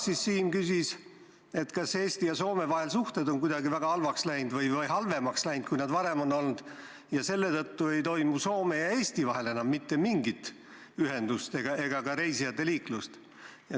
Samas Siim küsis, kas Eesti ja Soome vahel on suhted kuidagi väga halvaks läinud või halvemaks läinud, kui nad varem on olnud, ja selle tõttu ei ole Soome ja Eesti vahel enam mitte mingit ühendust ega ka reisijaliiklust.